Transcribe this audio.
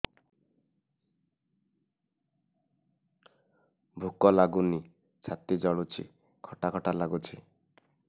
ଭୁକ ଲାଗୁନି ଛାତି ଜଳୁଛି ଖଟା ଖଟା ଲାଗୁଛି